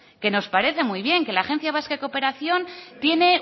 que nos parece muy bien que la agencia vasca de cooperación tiene